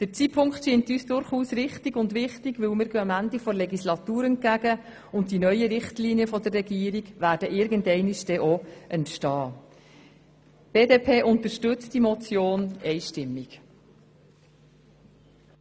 Der Zeitpunkt scheint uns richtig und wichtig, denn wir gehen dem Ende der Legislatur entgegen, und die neuen Richtlinien der Regierung werden irgendwann entstehen.